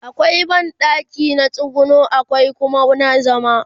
akwai banɗaki na tsuguno akwai Kuma na zama